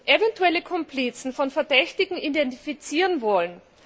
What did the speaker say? eventuelle Komplizen von Verdächtigen identifizieren wollen.